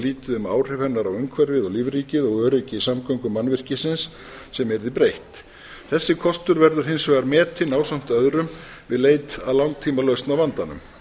lítið á áhrif hennar á umhverfið og lífríkið og öryggi samgöngumannvirkisins sem yrði breytt þessi kostur verður hins vegar metinn ásamt öðrum við leit að langtímalausn á vandanum